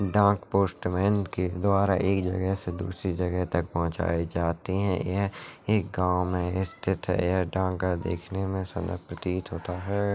डाक पोस्टमेन के द्वारा एक जगह से दूसरी जगह तक पहुँचाई जाते हैं यह एक गाँव में स्थित है यह डाकघर दिखने में सुंदर प्रतीत होता है।